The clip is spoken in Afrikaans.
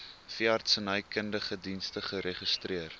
veeartsenykundige dienste geregistreer